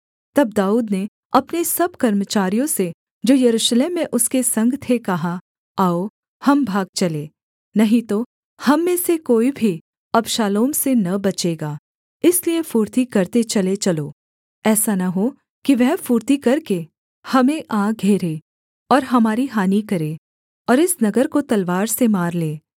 तब दाऊद ने अपने सब कर्मचारियों से जो यरूशलेम में उसके संग थे कहा आओ हम भाग चलें नहीं तो हम में से कोई भी अबशालोम से न बचेगा इसलिए फुर्ती करते चले चलो ऐसा न हो कि वह फुर्ती करके हमें आ घेरे और हमारी हानि करे और इस नगर को तलवार से मार ले